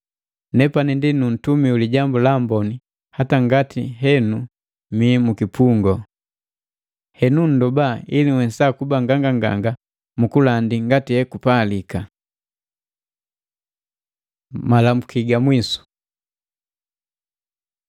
Nepani ndi nu ntumi wi Lijambu la Amboni hata ngati henu mii mukipungu. Henu nndoba, ili nhwesa kuba nganganganga mukulandi ngati ekupalika. Malamuki ga mwisu